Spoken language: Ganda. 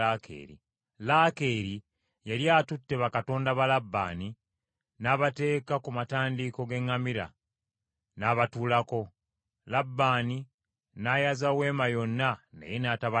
Laakeeri yali atutte bakatonda ba Labbaani, n’abateeka ku matandiiko g’eŋŋamira, n’abatuulako. Labbaani n’ayaza weema yonna naye n’atabalabamu.